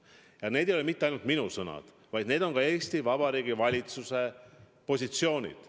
Ja need ei ole mitte ainult minu sõnad, vaid need on Eesti Vabariigi valitsuse positsioonid.